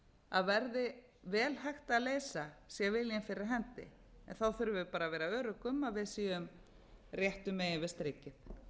að verði vel hægt að leysa sé viljinn fyrir hendi þurfum við bara að vera örugg um að við séum réttu megin við strikið